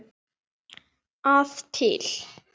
að til.